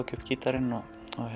ég upp gítarinn og